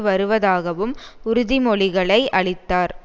வருவதாகவும் உறுதிமொழிகளை அளித்தார்